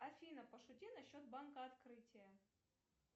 афина пошути насчет банка открытие